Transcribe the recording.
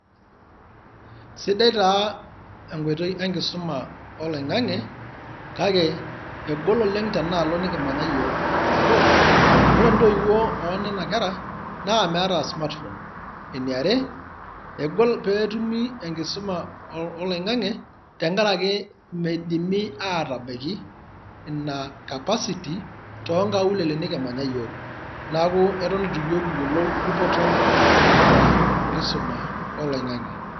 Sidai taa enkoitoi enkisoma oloing'ang'e, kake egol oleng' tenaalo nikimanya yiok, nabo, ore ntoiwuo oonena kera naa meeta smart phone, eniare, egol peetumi enkisoma oloing'ang'e tenkarake meidimi aatabaiki ina capacity toonkaulele nikimanya yiok neeku eton eitu yiok kiyiolou dupoto naata enkisoma oloing'ang'e.